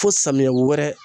Fo samiyɛ wɛrɛ